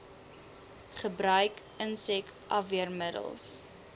gebruik insek afweermiddels